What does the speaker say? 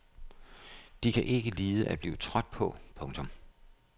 De kan ikke lide at blive trådt på. punktum